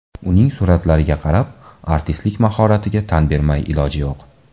Uning suratlariga qarab, artistlik mahoratiga tan bermay iloj yo‘q.